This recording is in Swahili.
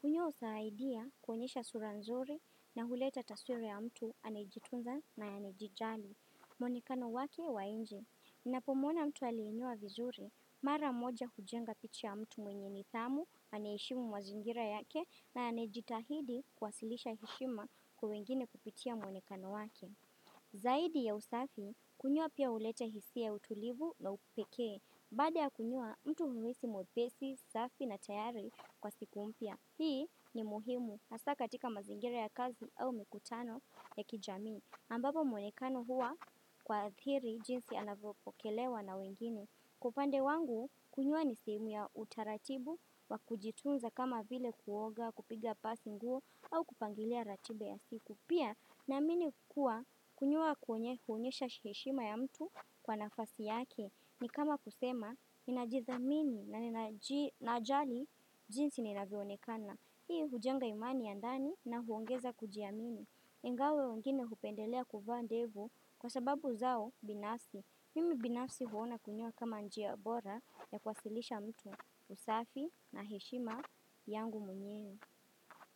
Kunyoa husaidia kuonyesha sura nzuri na huleta taswira ya mtu anejitunza na anayejijali. Muonekano wake wa nje. Ninapomuona mtu aliyenyoa vizuri, mara moja hujenga picha ya mtu mwenye nidhamu, anayeheshimu mazingira yake na anayejitahidi kuwasilisha heshima kwa wengine kupitia muonekano wake. Zaidi ya usafi, kunyoa pia huleta hisia ya utulivu na upekee. Baada ya kunyoa mtu huhisi mwepesi, safi na tayari kwa siku mypa. Hii ni muhimu, hasa katika mazingire ya kazi au mikutano ya kijamii ambapo muonekano huwa kuathiiri jinsi anavyopokelewa na wengine Kwa upande wangu, kunyoa ni sehemu ya utaratibu wa kujitunza kama vile kuoga, kupiga pasi nguo au kupangilia ratiba ya siku Pia na amini kuwa kunyuoa huonyesha heshima ya mtu kwa nafasi yake ni kama kusema ninajithamin na ninaji najali jinsi ninavyoonekana. Hii hujenga imani ya ndani na huongeza kujiamini. Ingawa wengine hupendelea kuvaa ndevu kwa sababu zao binasi. Mimi binasi huona kunyoa kama njia bora ya kuwasilisha mtu safi na heshima yangu mwenyewe.